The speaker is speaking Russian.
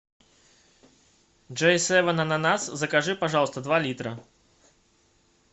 джей севен ананас закажи пожалуйста два литра